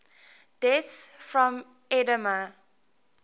deaths from edema